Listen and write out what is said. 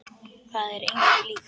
Það er engu líkt.